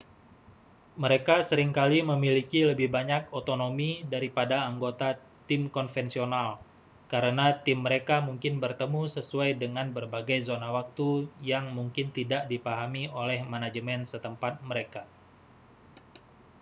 mereka sering kali memiliki lebih banyak otonomi daripada anggota tim konvensional karena tim mereka mungkin bertemu sesuai dengan berbagai zona waktu yang mungkin tidak dipahami oleh manajemen setempat mereka